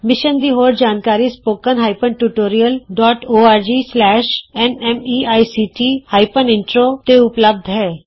mission ਦੀ ਹੋਰ ਜਾਣਕਾਰੀ spoken hyphen tutorial dot ORG slash N MEICT hyphen intro httpspoken tutorialorgnmeict intro ਤੇ ਉਪਲੱਭਧ ਹੈ